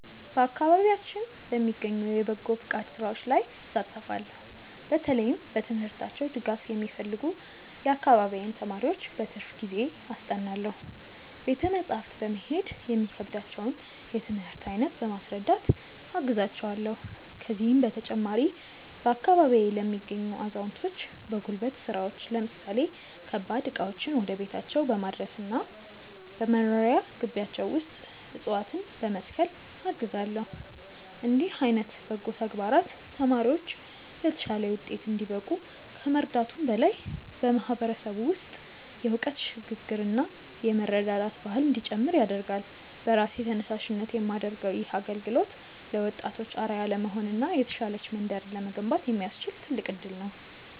በአካባቢያችን በሚገኙ የበጎ ፈቃድ ሥራዎች ላይ እሳተፋለው። በተለይም በትምህርታቸው ድጋፍ የሚፈልጉ የአካባቢዬን ተማሪዎች በትርፍ ጊዜዬ አስጠናለው። ቤተ መጻሕፍት በመሄድ የሚከብዳቸውን የትምህርት አይነት በማስረዳት አግዛቸዋለው። ከዚህም በተጨማሪ፣ በአካባቢዬ ለሚገኙ አዛውንቶች በጉልበት ሥራዎች ለምሳሌ ከባድ ዕቃዎችን ወደ ቤታቸው በማድረስና በመኖሪያ ግቢያቸው ውስጥ ዕፅዋትነ በመትከል አግዛለው። እንዲህ ዓይነት በጎ ተግባራት ተማሪዎች ለተሻለ ውጤት እንዲበቁ ከመርዳቱም በላይ፣ በማህበረሰቡ ውስጥ የእውቀት ሽግ ግርና የመረዳዳት ባህል እንዲጨምር ያደርጋል። በራሴ ተነሳሽነት የማደርገው ይህ አገልግሎት ለወጣቶች አርአያ ለመሆንና የተሻለች መንደርን ለመገንባት የሚያስችል ትልቅ እድል ነው።